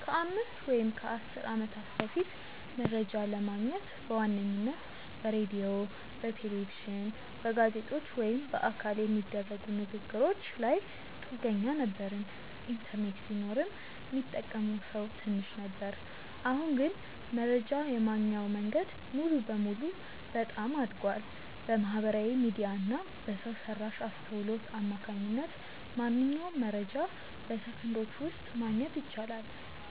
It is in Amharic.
ከአምስት ወይም ከአሥር ዓመታት በፊት መረጃ ለማግኘት በዋነኝነት በሬዲዮ፣ በቴሌቪዥን፣ በጋዜጦች ወይም በአካል በሚደረጉ ንግ ግሮች ላይ ጥገኛ ነበርን። ኢንተርኔት ቢኖርም ሚጠቀመው ሰው ትንሽ ነበር። አሁን ግን መረጃ የማግኛው መንገድ ሙሉ በሙሉ በጣም አድጓል። በማህበራዊ ሚዲያ እና በሰው ሰራሽ አስውሎት አማካኝነት ማንኛውንም መረጃ በሰከንዶች ውስጥ ማግኘት ይቻላል።